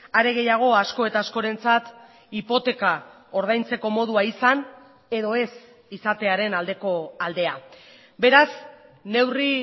are gehiago asko eta askorentzat hipoteka ordaintzeko modua izan edo ez izatearen aldeko aldea beraz neurri